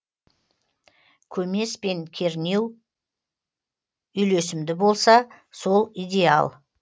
көмес пен көрнеу үйлесімді болса сол идеял